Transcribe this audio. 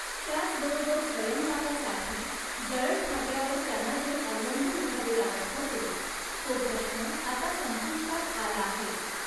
त्याचबरोबर स्वयंपाकासाठी जळणफाट्यावर त्यांना जे अवलंबून रहावे लागत होते, तो प्रश्न आता संपुष्टात आला आहे.